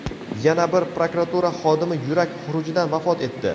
Yana bir prokuratura xodimi yurak xurujidan vafot etdi.